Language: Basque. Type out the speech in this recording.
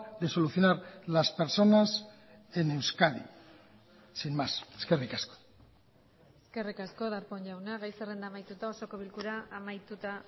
de solucionar las personas en euskadi sin más eskerrik asko eskerrik asko darpón jauna gai zerrenda amaituta osoko bilkura amaituta